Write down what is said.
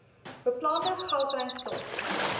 beplande gautrain stasies